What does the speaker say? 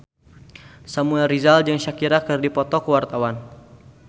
Samuel Rizal jeung Shakira keur dipoto ku wartawan